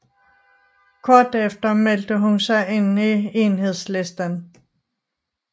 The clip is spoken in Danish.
Kort efter meldte hun sig ind i Enhedslisten